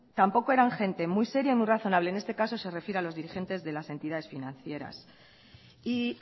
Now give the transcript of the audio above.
tampoco eran gente muy seria y muy razonable en este caso se refiere a los dirigentes de las entidades financieras y